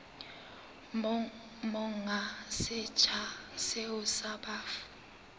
monga setsha seo sa bafu